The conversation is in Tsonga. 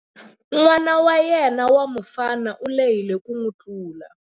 N'wana wa yena wa mufana u lehile ku n'wi tlula.